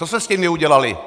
Co jste s nimi udělali?